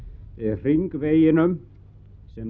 hringveginum sem